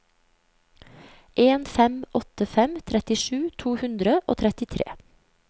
en fem åtte fem trettisju to hundre og trettitre